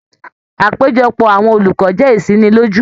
Àpéjọpọ̀ àwọn olùkọ jẹ isiniloju.